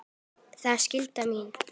Það er skylda mín.